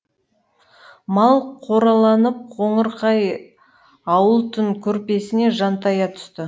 мал қораланып қоңырқай ауыл түн көрпесіне жантая түсті